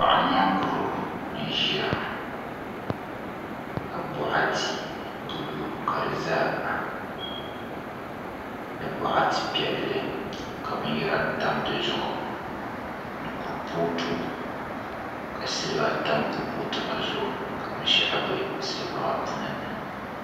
Paɣa nyankuro n ʒiya ka boɣati buluu ka di ʒɛya ni boɣati piɛlli ka binyɛra tam dizuɣu ni kuripooti ka silba tam kuripooti maa zuɣu ka binshaɣu bɛ silba maa puuni